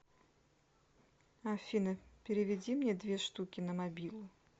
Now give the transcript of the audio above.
афина переведи мне две штуки на мобилу